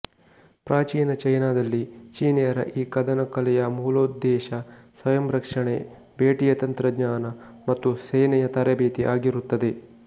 ಪ್ರಾಚೀನ ಚೈನಾದಲ್ಲಿ ಚೀನಿಯರ ಈ ಕದನ ಕಲೆಯ ಮೂಲೋದ್ದೇಶ ಸ್ವಯಂರಕ್ಷಣೆ ಬೇಟೆಯ ತಂತ್ರಜ್ಞಾನ ಮತ್ತು ಸೇನೆಯ ತರಬೇತಿ ಆಗಿರುತ್ತದೆ